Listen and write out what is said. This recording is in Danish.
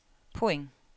point